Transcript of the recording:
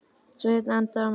Svenni andað nokkru léttar.